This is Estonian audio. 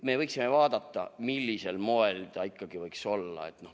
Me võiksime vaadata, millisel moel see ikkagi võiks olla.